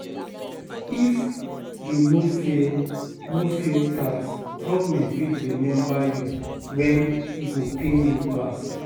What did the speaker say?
If you no fill, no fill tax, government fit remember you when e go pain you pass.